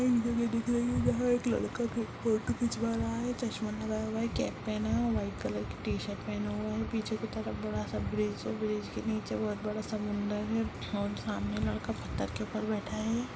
एक जगह दिख रही है जहाँ एक लड़का फोटो खिकवा रहा है चश्मा लगाया हुआ है केप पहना है व्हाइट कलर की टी-शर्ट पहना हुआ है पीछे की तरफ बड़ा सा ब्रिज है ब्रिज के नीचे बहुत बड़ा समुंदर है और सामने लड़का पत्थर के उप्पर बैठा है।